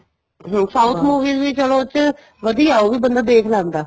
south movies ਵੀ ਚਲੋ ਉਹ ਚ ਵਧੀਆ ਉਹ ਵੀ ਬੰਦਾ ਦੇਖ ਲੈਂਦਾ